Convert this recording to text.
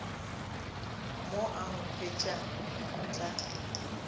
mo a nkhwetša go tla